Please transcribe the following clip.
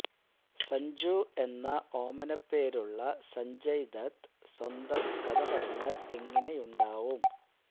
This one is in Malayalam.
സഞ്ജു എന്ന ഓമനപ്പേരുള്ള സഞ്ജയ് ദത്ത് സ്വന്തം കഥ പറഞ്ഞാൽ എങ്ങനെയുണ്ടാവും